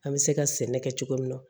An bɛ se ka sɛnɛ kɛ cogo min na